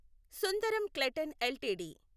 Sundaram Clayton LTD